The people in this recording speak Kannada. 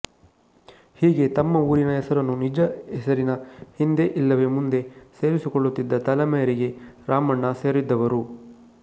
ಹೀಗೆ ತಮ್ಮ ಊರಿನ ಹೆಸರನ್ನು ನಿಜ ಹೆಸರಿನ ಹಿಂದೆ ಇಲ್ಲವೆ ಮುಂದೆ ಸೇರಿಸಿಕೊಳ್ಳುತ್ತಿದ್ದ ತಲೆಮಾರಿಗೆ ರಾಮಣ್ಣ ಸೇರಿದ್ದವರು